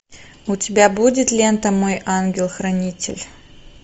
у тебя будет лента мой ангел хранитель